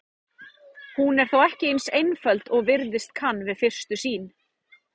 Hún er þó ekki eins einföld og virðast kann við fyrstu sýn.